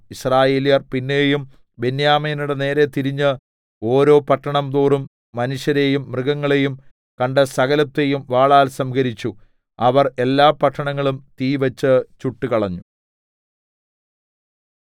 യിസ്രായേല്യർ പിന്നെയും ബെന്യാമീന്യരുടെ നേരെ തിരിഞ്ഞ് ഓരോ പട്ടണം തോറും മനുഷ്യരെയും മൃഗങ്ങളെയും കണ്ട സകലത്തെയും വാളാൽ സംഹരിച്ചു അവർ എല്ലാ പട്ടണങ്ങളും തീവെച്ച് ചുട്ടുകളഞ്ഞു